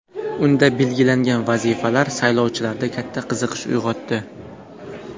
Unda belgilangan vazifalar saylovchilarda katta qiziqish uyg‘otdi.